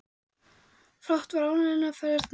Fátt var ánægjulegra en að ferðast um þennan heim.